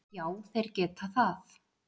Já þeir geta það.